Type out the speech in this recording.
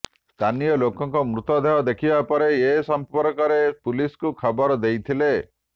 ସ୍ଥାନୀୟ ଲୋକ ମୃତଦେହ ଦେଖିବା ପରେ ଏସମ୍ପର୍କରେ ପୁଲିସ୍କୁ ଖବର ଦେଇଥିଲେ